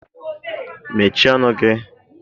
Mechie ọnụ gị!